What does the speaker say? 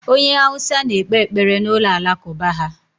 Onye Hausa na-ekpe ekpere n'ụlọ Alakụba ha.